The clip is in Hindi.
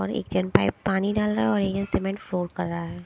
और एक जन पाईप पानी डाल रहा है और एक जन सिमेंट फोड़ता जा रहा है।